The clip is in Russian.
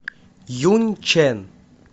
юньчэн